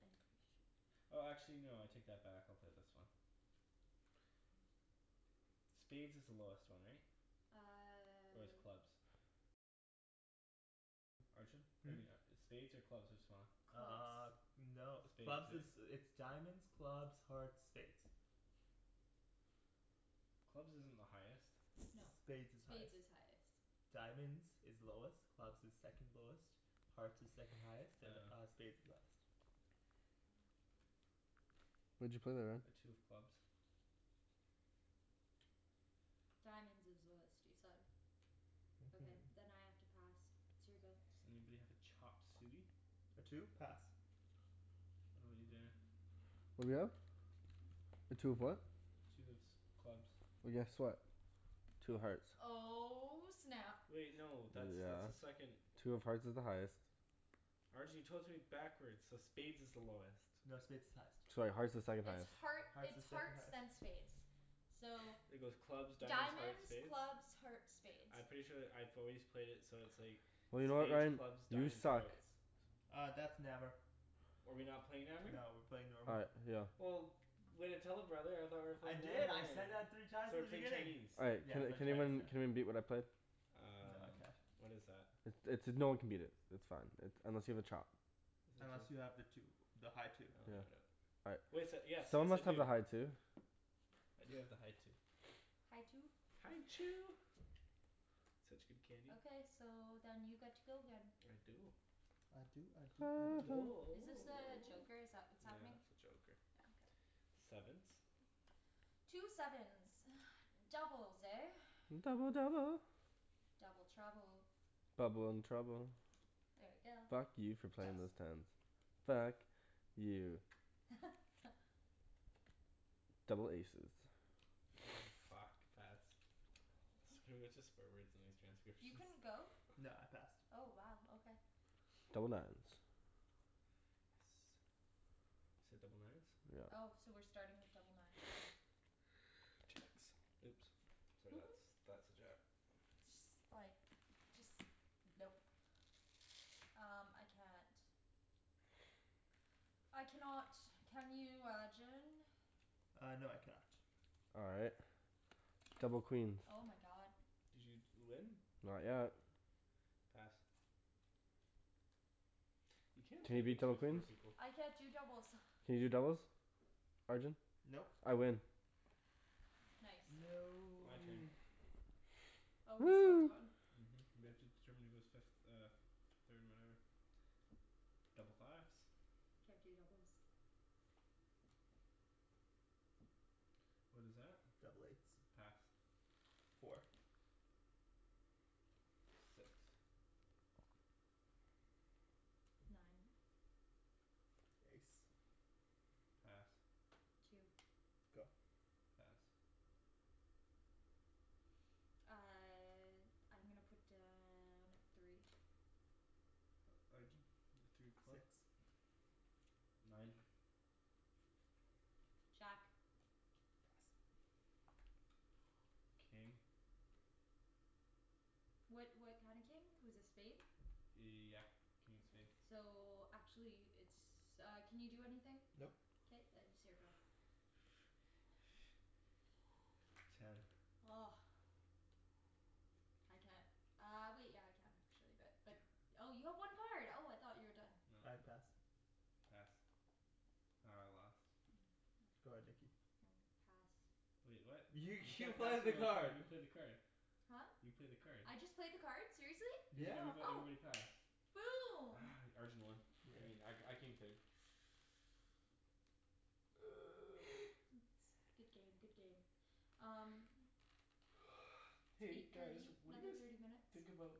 I'm pretty sure. Oh actually no, I take that back, I'll play this one. Spades is the lowest one, right? Or is Uh clubs? Hmm? Maybe not. Spades or clubs, what's smaller? Uh. Clubs. No. Spades, Clubs is, right? it's diamonds, clubs, hearts, spades. Clubs isn't the highest. No. Spades is highest. Spades is highest. Diamonds is lowest, clubs is second lowest. Hearts is second highest, and uh Oh. spades is highest. What'd you play there, Ryan? A two of clubs. Diamonds is lowest, you said. Okay, Mhm. then I have to pass. It's your go. Does anybody have a chop suey? A two? Pass. How 'bout you, Daniel? What are we at? A two of what? Two of s- clubs. Well, guess what? Two of hearts. Oh snap. Wait no, that's that's a Yeah. second Two of hearts is the highest. Arjan you told it to me backwards, so spades is the lowest. No, spades is highest. Sorry, hearts is second It's highest. heart, Hearts it's is second hearts highest. then spades. So It goes clubs, diamonds, hearts, Diamonds, spades? clubs, hearts, spades. I'm pretty sure that I've always played it so it's like Well, you know what spades, Ryan? clubs, You diamonds, suck. hearts. Uh, that's Nammer. Oh are we not playing Nammer? No, we're playing Oh normal. right, yeah. Well way to tell a brother, I thought we were I playing did, Nammer I here. said that three times So in we're the playing beginning. Chinese. All right Yeah. can We're playing can Chinese, yeah. anyone can anyone beat what I played? No Um I can't. What is that? I- it's, no one can beat it. It's fine, it, unless you have a chop. Unless you have the two. The high two. Oh no I don't. All right. Wait so, yes Someone yes I must have a do. high two. I do have the high two. High two? High Chew. Such good candy. Okay, so then you get to go again. I do. I do I do I I do. do. Is this a joker, is that what's Yeah, happening? that's a joker. Yeah, okay. Sevens? Two sevens. Doubles, eh? Double double. Double trouble. Bubble and trouble. There we go. Fuck you for Pass. playing those tens. Fuck. You. Double aces. Fuck, pass. It's gonna be a bunch of swear words in these You transcriptions. couldn't go? No, I passed. Oh wow, okay. Double nines. Yes. You said double nines? Yep. Oh, so we're starting with double nines, okay. Jacks. Oops. Sorry that's, that's a jack. Just like Just, nope. Um, I can't. I cannot. Can you Arjan? Uh no, I can not. All right. Double queens. Oh my god. Did you d- win? Not yet. Pass. You can't Can play you beat Big Two double with four queens? people. I can't do doubles. Can you do doubles? Arjan? Nope. I win. Nice. My turn. No. Oh, we're still Woo! going? Mhm. We have to determine who goes fifth, uh f- third and whatever. Double fives. Can't do doubles. What is that? Double eights. Pass. Four. Six. Nine. Ace. Pass. Two. Go. Pass. Uh I'm gonna put down a three. Arjan? Three of clubs? Six. Nine. Jack. Pass. King. What what kind of king? It was a spade? Yeah. King of spade. So, actually it's uh, can you do anything? Nope. K then, it's your go. Ten. I can't. Uh wait, yeah I can actually, but, but Oh you have one card. Oh I thought you were done. No. I pass. Pass. Oh, I lost. Go ahead Nikki. Hmm, pass. Wait, what? You You you can't pass played the me a new card. card, you played the card. Huh? You played the card. I just played the card? Seriously? Cuz Yeah. everybo- Oh. everybody passed. Boom! Arjan won. Yeah. I mean I, I came third. Good game, good game. Um So Hey eight guys, thirty, what do you another thirty guys minutes. think about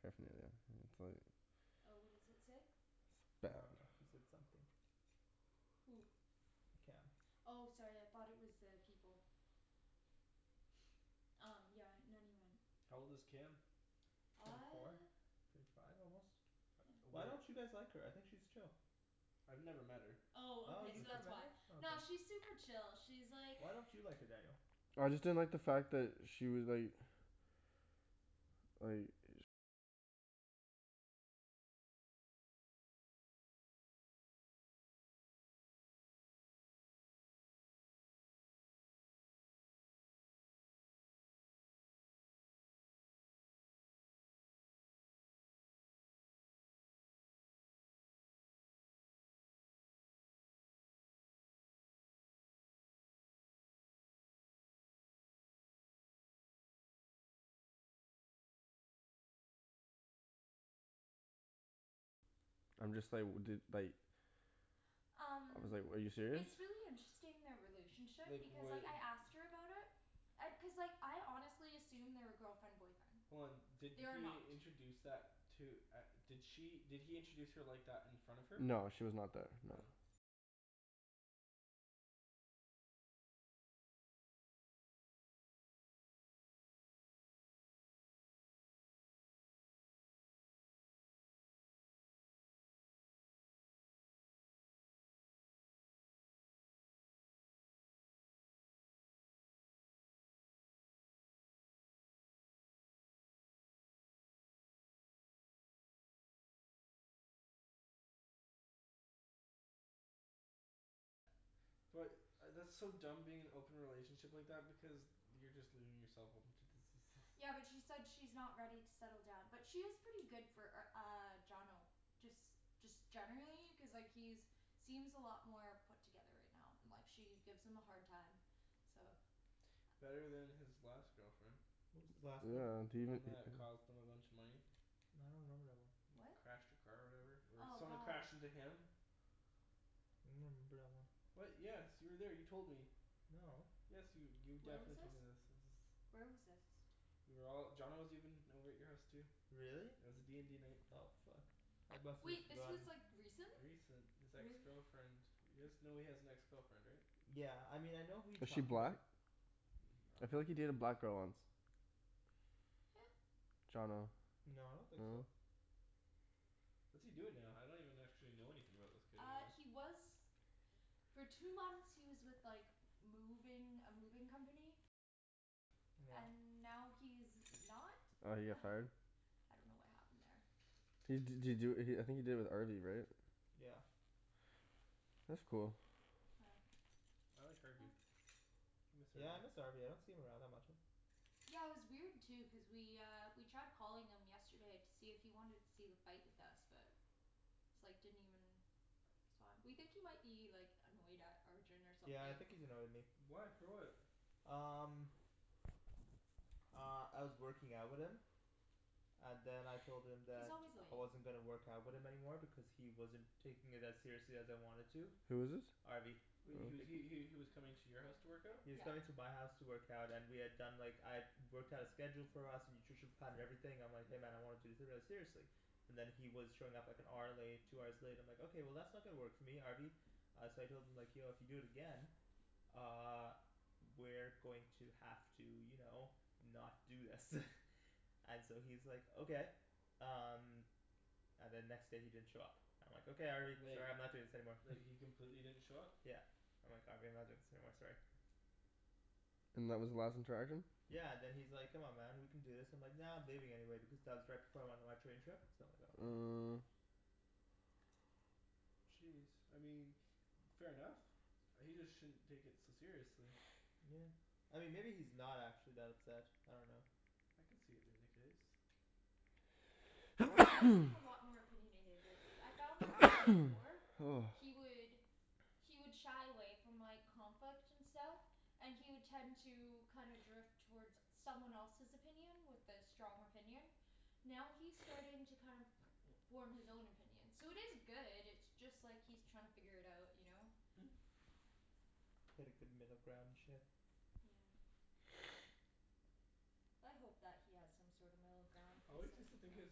paraphernalia. It's like Oh, what does it say? It's I bad. dunno. He said something. Who? Cam. Oh sorry, I thought it was uh people. Um yeah. Not even. How old is Cam? Twenty four? Uh Twenty five almost? Why Where don't you guys like her? I think she's chill. I've never met her. Oh Oh okay, you've so never that's met why. her? Oh okay. Nah, she's super chill, she's like Why don't you like her, Daniel? I just didn't like the fact that she was like like I'm just like, dude, like I Um was like, "Are you serious?" It's really interesting, their relationship, Like because like when I asked her about it and, cuz like I honestly assumed they were girlfriend boyfriend. Hold on, did They are he not. introduce that, to, at, did she, did he introduce her like that in front of her? No she was not there, no. Oh. But, I that's so dumb being in an open relationship like that, because you're just leaving yourself open to diseases. Yeah, but she said she's not ready to settle down. But she is pretty good for r- uh, Johnno. Just, just generally, cuz like he's seems a lot more put together right now. And like she gives him a hard time. So Better than his last girlfriend. What was his last girlfriend? Did The he even one that cost him a bunch of money. I don't remember that one. What? Crashed her car or whatever? Or Oh someone god. crashed into him. remember that one. What? Yes, you were there, you told me. No. Yes you, you Where was definitely this? told me this, this is Where was this? We were all, Johnno was even over at your house too. Really? It was a d and d night. Oh fuck. I must've Wait, this was forgotten. like, recent? Recent? This ex girlfriend You guys know he has an ex girlfriend, right? Yeah. I mean, I know who you Is she talking black? 'bout. Mm, I I feel like he dunno. dated a black girl once. Yeah. Johnno. No, I don't think so. What's he doing now? I don't even actually know anything about this kid Uh, anymore. he was for two months, he was with like moving, a moving company. Yeah. And now he's not. Oh, he got fired? I dunno what happened there. He d- did he do it, I think he did it with Harvey right? Yeah. That's cool. I like Harvey. I miss Yeah I miss Harvey. Harvey, I don't see him around that much. Yeah, it was weird too, cuz we uh, we tried calling him yesterday to see if he wanted to see the fight with us, but it's like, didn't even respond. We think he might be like, annoyed at Arjan or something. Yeah I think he's annoyed at me. Why? For what? Um Uh, I was working out with him. And then I told him He's that always late. I wasn't gonna work out with him anymore because he wasn't taking it as seriously as I wanted to. Who is this? Harvey. He was he he he was coming to your house to work out? He was Yeah. coming to my house to work out and we had done like, I had worked out a schedule for us, nutrition plan, and everything, I'm like "Hey man, I want to do seriously." And then he was showing up like an hour late, two hours late, and I'm like "Okay, that's not gonna work for me, Harvey." Uh so I told him like "Yo, if you do it again uh we're going to have to, you know, not do this. And so he's like "Okay." Um And then next day he didn't show up. I'm like "Okay Harvey, Like sorry I'm not doing this anymore." He completely didn't show up? Yeah. I'm like "Harvey, I'm not doing this anymore, sorry." And that was the last interaction? Yeah and then he's like "Come on man, we can do this." And I'm like "Nah, I'm leaving anyway," because that was right before I went on my train trip. So I'm like "Oh okay." Uh Jeez, I mean fair enough. He just shouldn't take it so seriously. Yeah. I mean maybe he's not actually that upset, I dunno. I could see it being the case. He does seem a lot more opinionated lately. I found like way before he would he would shy away from like, conflict and stuff. And he would tend to kind of drift toward someone else's opinion, with a strong opinion. Now he's starting to kind of form his own opinion. So it is good, it's just like he's trying to figure it out, you know? Hit a good middle ground and shit. Yeah. I hope that he has some sort of middle ground, I cuz always like, used to think yeah his,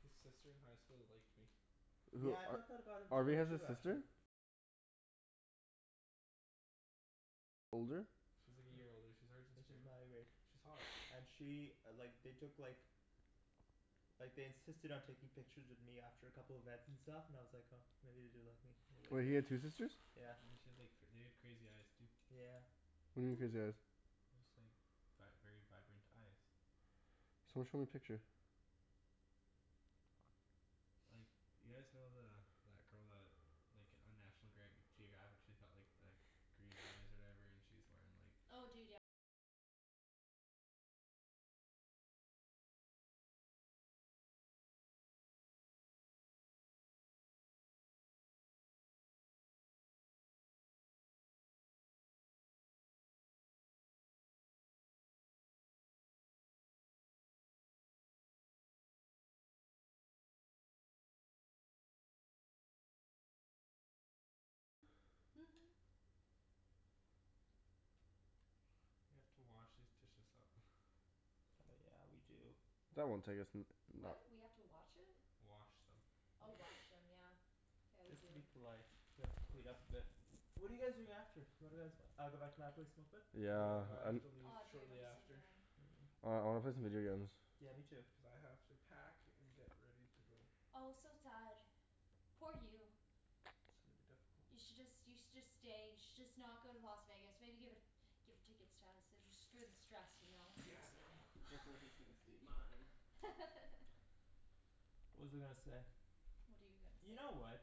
his sister in high school liked me. Who, Yeah I thought Ar- that about him Harvey t- has a too sister? actually. She's like a year older. She's Arjan's She's grade. my grade. She's hot. And she like, they took like like they insisted on taking pictures of me after a couple events and stuff, and I was like, oh maybe they do like me Wait, he had two sisters? Yeah. And then she had like, they had crazy eyes too. Yeah. What do you mean crazy eyes? They're just like vi- very vibrant eyes. Someone show me a picture. Like, you guys know the, that girl that like, on National Greg- Geographic she's got like the green eyes or whatever? And she's wearing like We have to wash these dishes up. Oh yeah, we do. That won't take us n- no- What? We have to watch it? Wash them. Oh wash them, yeah. Yeah, we Just do. to be polite. We have Of to clean course. up a bit. What are you guys doing after? What are guys, uh go back to my place, smoke a bit? Yeah, Yeah, but I have I'm to leave Oh dude, shortly I'm so after. done. Mm. Oh I wanna play some video games. Yeah, me too. Cuz I have to pack and get ready to go. Oh so sad. Poor you. It's gonna be difficult. You should just, you should just stay, you should just not go to Las Vegas, maybe give it give the tickets to us, just for the stress, you know, Yeah, cuz no. stay mine. What was I gonna say? What are you gonna You know say? what.